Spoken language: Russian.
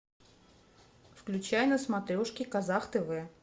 включай на смотрешке казах тв